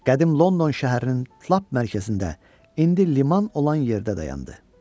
Qədim London şəhərinin lap mərkəzində indi liman olan yerdə dayandı.